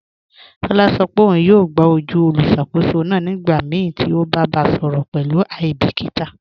Tọla sọ pe ọ̀un yọọ gbà ojú olùṣakòsó náà nígbàmíí ti o bá bá a sọrọ pẹ̀lú aibikíta.